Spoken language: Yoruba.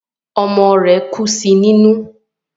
Ọmọ rẹ̀ kú sí nínú